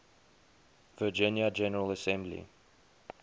virginia general assembly